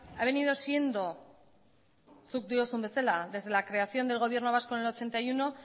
ha venido siendo zuk diozun bezala desde la creación del gobierno vasco en el ochenta y uno